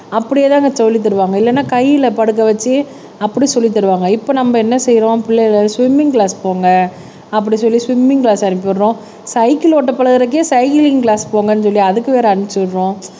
அப்படியேதாங்க சொல்லித் தருவாங்க இல்லன்னா கையில படுக்க வச்சு அப்படி சொல்லித் தருவாங்க இப்ப நம்ம என்ன செய்யறோம் பிள்ளைகள் ஸ்விம்மிங் கிளாஸ் போங்க அப்படி சொல்லி ஸ்விம்மிங் கிளாஸ் அனுப்பிவிடுறோம் சைக்கிள் ஓட்ட பழகுறதுக்கே சைக்ளிங் கிளாஸ் போங்கன்னு சொல்லி அதுக்கு வேற அனுப்பிச்சு விடுறோம்